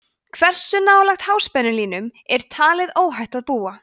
hversu nálægt háspennulínum er talið óhætt að búa